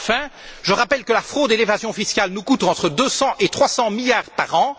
Enfin, je rappelle que la fraude et l'évasion fiscales nous coûtent entre 200 et 300 milliards par an.